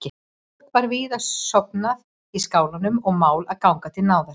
Fólk var víða sofnað í skálanum og mál að ganga til náða.